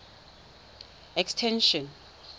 extension